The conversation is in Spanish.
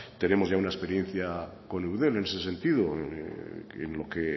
tenemos ya una experiencia con eudel en ese sentido en lo que